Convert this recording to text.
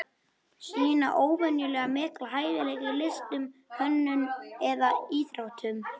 Sýna óvenjulega mikla hæfileika í listum, hönnun eða íþróttum.